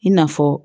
I n'a fɔ